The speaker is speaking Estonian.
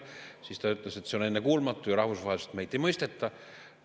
Siis ta ütles, et see on ennekuulmatu ja rahvusvaheliselt meid ei mõisteta.